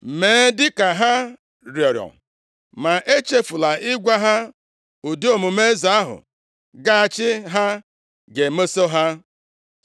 Mee dịka ha rịọrọ, ma echefula ịgwa ha ụdị omume eze ahụ ga-achị ha ga-emeso ha.”